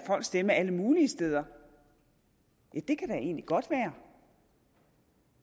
stemme alle mulige steder ja det kan da egentlig godt være